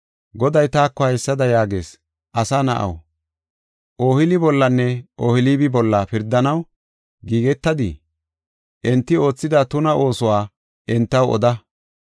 Goday taako haysada yaagis: “Asa na7aw, Ohooli bollanne Ohoolibi bolla pirdanaw giigetadii? Enti oothida tuna oosuwa entaw oda.